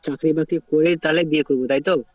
চাকরি বাকরি করে তাহলে বিয়ে করবে, তাইতো?